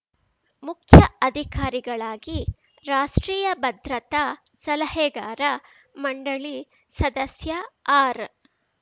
ಮುಖ್ಯ ಅಧಿಕಾರಿಗಳಾಗಿ ರಾಷ್ಟ್ರೀಯ ಭದ್ರತಾ ಸಲಹೆಗಾರ ಮಂಡಳಿ ಸದಸ್ಯ ಆರ್